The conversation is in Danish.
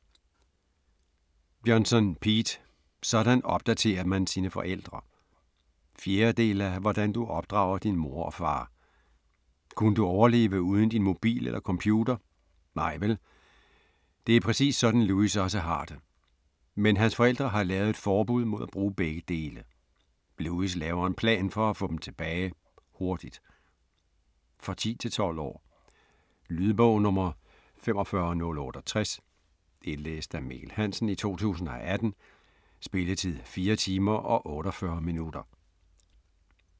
Johnson, Pete: Sådan opdaterer man sine forældre 4. del af Hvordan du opdrager din mor og far. Kunne du overleve uden din mobil eller computer? Nej vel! Det er præcis sådan Louis også har det. Men hans forældre har lavet et forbud mod at bruge begge dele. Louis laver en plan for at få dem tilbage, hurtigt. For 10-12 år. Lydbog 45068 Indlæst af Mikkel Hansen, 2018. Spilletid: 4 timer, 48 minutter.